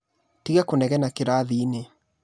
Tiga kũnegena kĩrathi-inĩ.